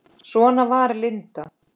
Svona var Linda.